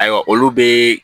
Ayiwa olu be